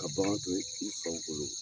Ka bagan to, i faw bolo